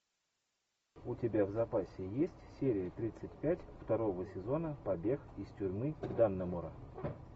у тебя в запасе есть серия тридцать пять второго сезона побег из тюрьмы даннемора